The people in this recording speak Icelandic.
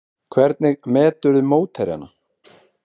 Hvernig meturðu mótherjana?